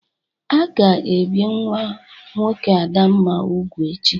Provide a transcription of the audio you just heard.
A ga-ebie nwa nwoke Adamna ubu echi.